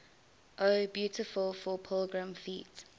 o beautiful for pilgrim feet